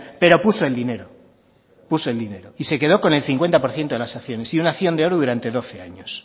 pero puso el dinero y se quedó con el cincuenta por ciento de las acciones y una acción durante doce años